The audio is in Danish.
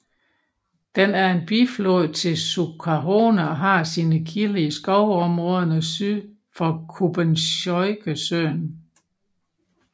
Den er en biflod til Sukhona og har sine kilder i skovområderne syd for Kubenskojesøen